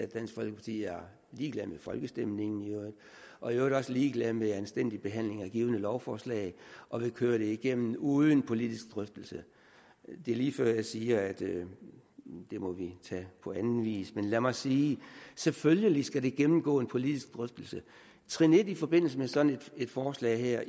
dansk folkeparti er ligeglad med folkestemningen og i øvrigt også ligeglad med anstændige behandlinger af givne lovforslag og vil køre det igennem uden politisk drøftelse det er lige før jeg siger at det må vi tage på anden vis men lad mig sige selvfølgelig skal det gennemgå en politisk drøftelse i forbindelse med sådan et forslag her